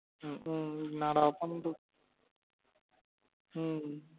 உம் உம் என்னடா பண்றது உம்